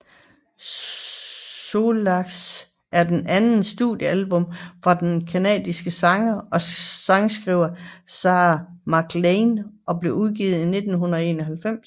Solace er det andet studiealbum fra den canadiske sangerinde og sangskriver Sarah McLachlan og blev udgivet i 1991